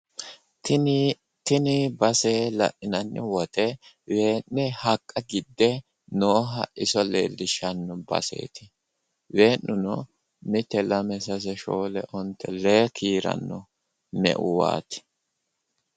Tini base la'inanni woyiite wee'ne haqqa gidde nooha iso leellishsanno baseeti wee'nuno mite, lame, sase, shoole ,onte, lee, leellishanno